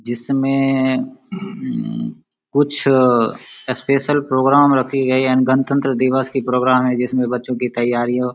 जिसमें उम्म कुछ स्पेशल प्रोग्राम रखी गई है एंड गणतन्त्र दिवस की प्रोग्राम है जिसमें बच्चों की तैयारियों।